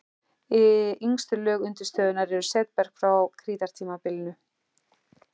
Yngstu lög undirstöðunnar eru setberg frá krítartímabilinu.